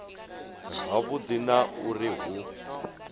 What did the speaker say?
ha vhudi na uri hu